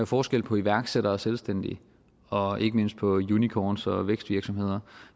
forskel på iværksættere og selvstændige og ikke mindst på unicorns og vækstvirksomheder